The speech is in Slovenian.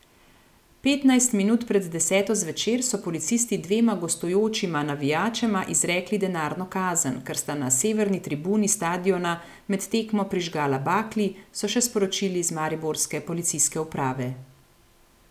Petnajst minut pred deseto zvečer so policisti dvema gostujočima navijačema izrekli denarno kazen, ker sta na severni tribuni stadiona med tekmo prižgala bakli, so še sporočili iz mariborske policijske uprave.